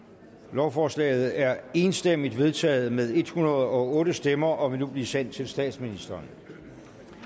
lovforslaget er enstemmigt vedtaget med en hundrede og otte stemmer og vil nu blive sendt til statsministeren